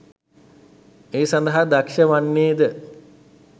ඒ සඳහා දක්ෂ වන්නේද